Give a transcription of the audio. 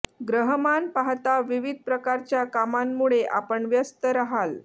ग्रहमान पाहता विविध प्रकारच्या कामांमुळे आपण व्यस्त राहाल